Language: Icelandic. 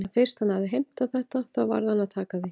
En fyrst hann hafði heimtað þetta þá varð að taka því.